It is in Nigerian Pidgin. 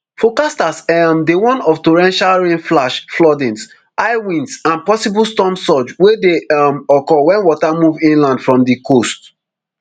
forecasters um dey warn of torrential rain flash flooding high winds and possible storm surge wey dey um occur wen water move inland from di coast